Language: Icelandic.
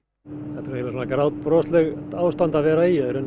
þetta er eiginlega grátbroslegt ástand að vera í að